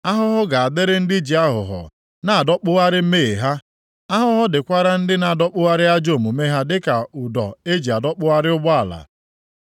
Ahụhụ ga-adịrị ndị ji aghụghọ na-adọkpụgharị mmehie ha; ahụhụ dịkwara ndị na-adọkpụgharị ajọ omume ha dịka ụdọ eji adọkpụgharị ụgbọala.